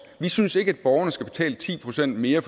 vi synes ikke at borgerne skal betale ti procent mere